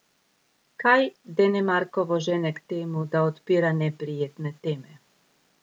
Kaj Denemarkovo žene k temu, da odpira neprijetne teme?